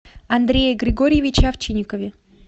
андрее григорьевиче овчинникове